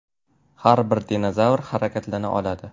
Har bir dinozavr harakatlana oladi.